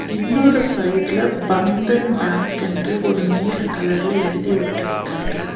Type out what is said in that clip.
இன்னொரு சைட்ல பந்தன் பேங்க் என்று ஒரு நீல கலர்ல எழுதி ஒட்டிருக்காங்க.